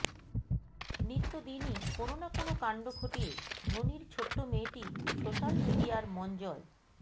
নিত্যদিনই কোনও না কোনও কাণ্ড ঘটিয়ে ধোনির ছোট্ট মেয়েটি সোশাল মিডিয়ার মন জয়